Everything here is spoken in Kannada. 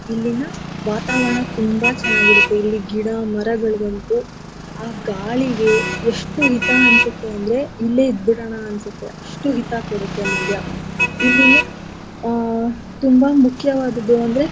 ಇಲ್ಲಿನ ವಾತಾವರಣ ತುಂಬಾ ಚೆನ್ನಾಗಿರತ್ತೆ ಇಲ್ಲಿ ಗಿಡ ಮರಗಳಿಗಂತು ಆ ಗಾಳಿಗೆ ಎಷ್ಟು ಹಿತ ಅನ್ಸತ್ತೆ ಅಂದ್ರೆ ಇಲ್ಲೆ ಇದ್ಬಿಡಣ ಅನ್ಸತ್ತೆ ಅಷ್ಟು ಹಿತ ಕೊಡತ್ತೆ ಮಂಡ್ಯ ಇಲ್ಲಿನ ಆ ತುಂಬಾ ಮುಖ್ಯವಾದದ್ದು ಅಂದ್ರೆ.